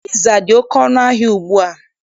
Piza dị oke ọnụ ahịa ugbua.